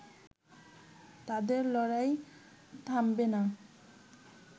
তাদের লড়াই থামবে না